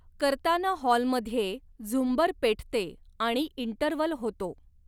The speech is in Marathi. करताना हॉलमध्ये झुंबर पेटते आणि इंटरवल होतो.